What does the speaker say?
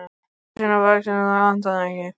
Starfi sínu vaxinn, það vantaði ekki.